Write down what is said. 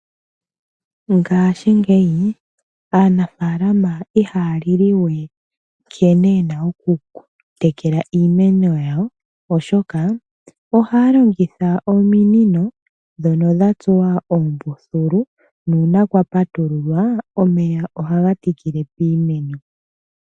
Ngashingeyi aanafalama ihaya lili we nkene yena oku tekela iimeno yawo, oshoka ohaya longitha ominino dhoka dha tsuwa oombuthulu, nuuna kwa patulula, omeya ohaga tikile piimeno.